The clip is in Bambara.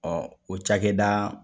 Ɔ o cakɛda